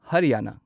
ꯍꯔꯌꯥꯅꯥ